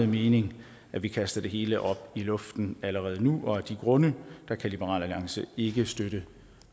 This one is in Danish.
mening at vi kaster det hele op i luften allerede nu af de grunde kan liberal alliance ikke støtte